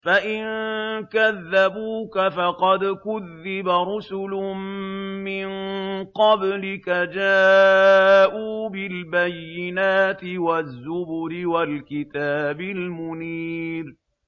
فَإِن كَذَّبُوكَ فَقَدْ كُذِّبَ رُسُلٌ مِّن قَبْلِكَ جَاءُوا بِالْبَيِّنَاتِ وَالزُّبُرِ وَالْكِتَابِ الْمُنِيرِ